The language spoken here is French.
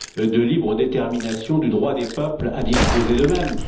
de libre détermination du droit des peuples à disposer d'eux mêmes?